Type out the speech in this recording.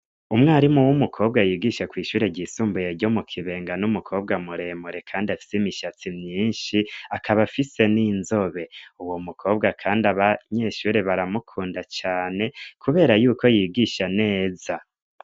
umwarimu w'umukobwa yigishe kw' ishure ryisumbuye ryo mu kibenga n'umukobwa muremure kandi afite imishatsi myinshi akaba afise n'inzobe uwo mukobwa kandi abanyeshure baramukunda cane kubera yuko ibwisha neza